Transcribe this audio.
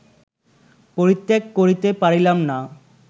পরিত্যাগ করিতে পারিলাম না